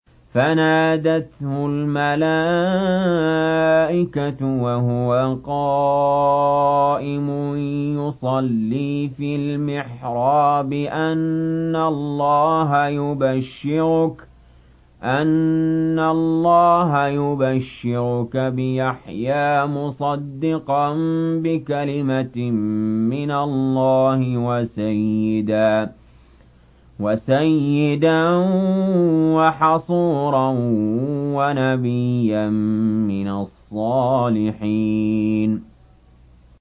فَنَادَتْهُ الْمَلَائِكَةُ وَهُوَ قَائِمٌ يُصَلِّي فِي الْمِحْرَابِ أَنَّ اللَّهَ يُبَشِّرُكَ بِيَحْيَىٰ مُصَدِّقًا بِكَلِمَةٍ مِّنَ اللَّهِ وَسَيِّدًا وَحَصُورًا وَنَبِيًّا مِّنَ الصَّالِحِينَ